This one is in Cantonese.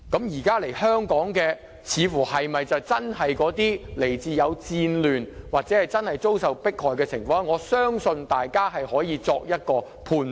現在來香港的難民，是否真的來自有戰亂的地方，或者真的有遭受迫害的情況？我相信大家可以作出判斷。